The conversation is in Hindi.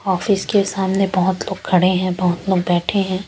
ऑफिस के सामने बोहोत लोग खड़े है बोहोत लोग बेठे है ।